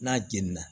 N'a jeni na